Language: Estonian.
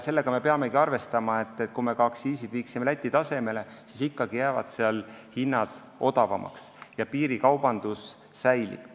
Sellega me peamegi arvestama, et isegi kui me viime aktsiisid Läti tasemele, jäävad seal ikkagi hinnad odavamaks ja piirikaubandus säilib.